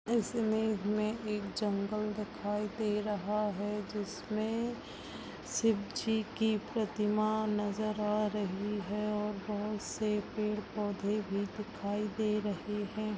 इस इमेज में एक जंगल दिखाई दे रहा है जिसमें शिवजी की प्रतीमा नज़र आ रही है और बहोत से पेड़ -पौधे भी दिखाई दे रही हैं।